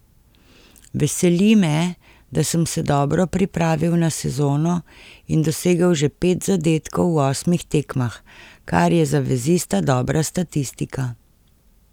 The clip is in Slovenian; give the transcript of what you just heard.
Veseli me, da sem se dobro pripravil na sezono in dosegel že pet zadetkov v osmih tekmah, kar je za vezista dobra statistika.